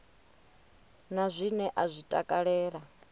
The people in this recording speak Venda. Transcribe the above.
na zwine a zwi takalela